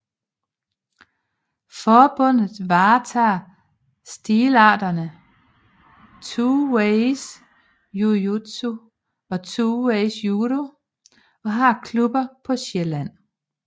Forbundet varetager stilarterne 2ways Jujutsu og 2ways Judo og har klubber på Sjælland